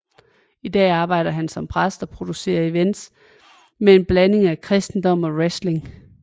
I dag arbejder han som præst og producerer events med en blanding af kristendom og wrestling